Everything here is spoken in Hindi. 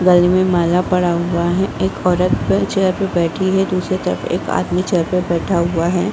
गले मे माला पड़ा हुआ है | एक औरत प चेयर पे बैठी है | दूसरी तरफ एक आदमी चेयर पे बैठा हुआ है ।